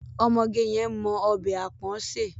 Ọmọge yẹn mọ ọbẹ̀ àpọ̀n sè.